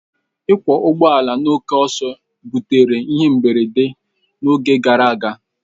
Ịkwọ ụgbọ ala na oke ọsọ ebutere ihe mberede n'oge gara aga.